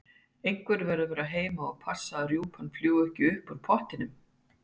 Einhver verður að vera heima og passa að rjúpurnar fljúgi ekki upp úr pottinum